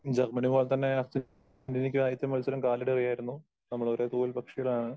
Germany പോലെത്തന്നെ അര്ജന്റീനക്കും ആദ്യത്തെ മത്സരം കാലിടെ വയ്യായിരുന്നു. നമ്മൾ ഒരേ തൂവൽപക്ഷികളാണ്.